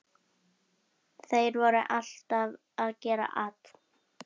Þeir voru alltaf að gera at.